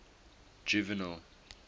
juvenal